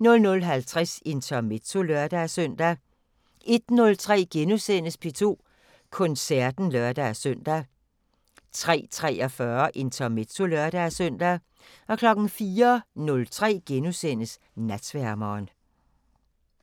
00:50: Intermezzo (lør-søn) 01:03: P2 Koncerten *(lør-søn) 03:43: Intermezzo (lør-søn) 04:03: Natsværmeren *